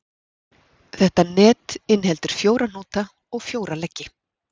Þetta net inniheldur fjóra hnúta og fjóra leggi.